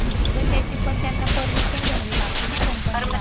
नाही गं, त्याची पण त्यांना परमिशन घ्यावी लागती ना कंपनीला. तर म